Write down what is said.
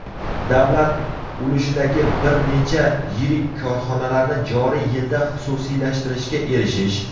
davlat ulushidagi bir necha yirik korxonalarni joriy yilda xususiylashtirishga erishish;.